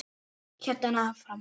hélt ég áfram.